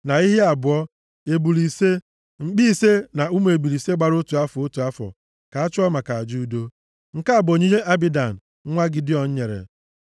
na ehi abụọ, ebule ise, mkpi ise na ụmụ ebule ise gbara otu afọ, otu afọ, ka a chụọ maka aja udo. Nke a bụ onyinye Abidan nwa Gidiọni nyere.